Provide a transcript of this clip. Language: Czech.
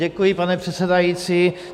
Děkuji, pane předsedající.